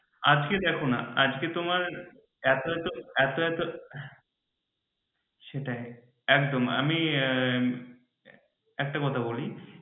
আজকে দেখনা আজকে তোমার এতো এতো এতো এতো সেটাই একদম একটা কথা বলি